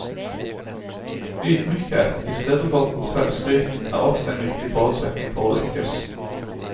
Ydmykhet i stedet for selvskryt er også en viktig forutsetning for å lykkes.